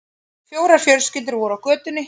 Fjórar fjölskyldur voru á götunni.